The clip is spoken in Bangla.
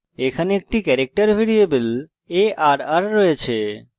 এখানে একটি ক্যারেক্টার ভ্যারিয়েবল arr রয়েছে